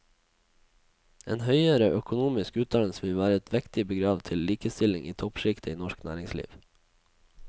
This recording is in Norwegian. En høyere økonomisk utdannelse vil være et vektig bidrag til likestillingen i toppskiktet i norsk næringsliv.